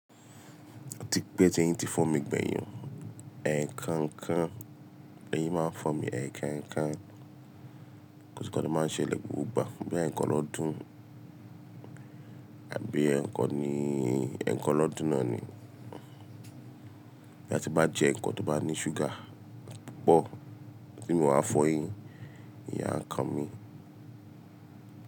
Tí pé tí ẹ̀yin ti fọ́ mi gbẹ̀yìn, ẹ̀ẹ̀kan ńkan, lẹ́yìn máa fún mi ẹ̀ẹ̀kan ńkan. Kò n se ǹkan tó máa ń ṣẹlẹ̀ gbogbo ìgbà, bí i ẹ̀ẹ̀kan lọ́dún àbí ẹ̀ẹ̀kan ní ẹ̀ẹ̀kan lọ́dún náà ni. Bóyá tí n bá jẹ ǹkan tó ni súgà púpọ̀ tí mi ò wá fọyín, eyín á kan mí.